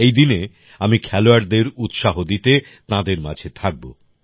এই দিনে আমি খেলোয়াড়দের উৎসাহ দিতে তাঁদের মাঝে থাকব